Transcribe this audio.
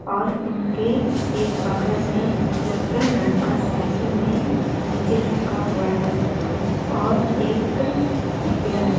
और उनके एक बगल में एक लड़का साइकिल में नीचे झूका हुआ है और एक पेड़ हैं।